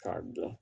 K'a dɔn